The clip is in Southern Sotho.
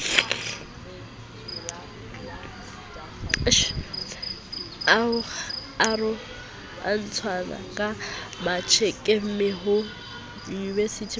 ho tsohwaka matjekemme ho uwemotseng